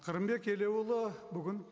қырымбек елеуұлы бүгін